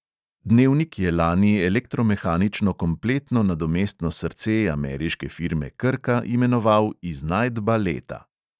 Dnevnik je lani elektromehanično kompletno nadomestno srce ameriške firme krka imenoval iznajdba leta.